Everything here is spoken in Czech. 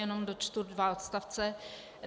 Jenom dočtu dva odstavce.